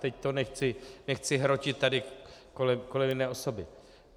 Teď to nechci hrotit tady kolem jedné osoby.